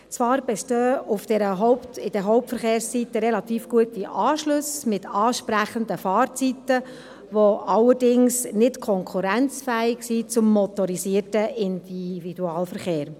Zwar bestehen in den Hauptverkehrszeiten relativ gute Anschlüsse mit ansprechenden Fahrzeiten, die allerdings nicht konkurrenzfähig sind zum motorisierten Individualverkehr.